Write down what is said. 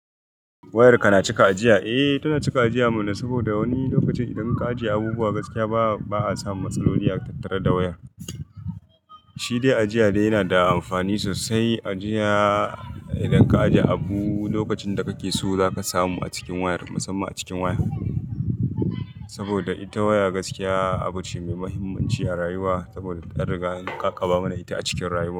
Wayar ka na cika ajiya? Eh tana cika ajiya mana saboda wani lokaci idan ka ajiye abubuwa gaskiya ba ba'a samu matsaloli a tattare da wayan. Shi dai ajiya dai yana da amfani sosai. Ajiya idan ka ajiye abu lokacin da kake so zaka samu a cikin wayar, musamman a cikin waya. Saboda ita waya gaskiya abu ce mai muhimmanci a rayuwa saboda an riga ne, ƙaƙaba mana ita a cikin rayuwa.